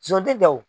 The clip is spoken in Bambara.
Son tɛ wo